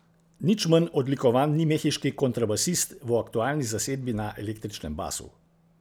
Nič manj odlikovan ni mehiški kontrabasist, v aktualni zasedbi na električnem basu.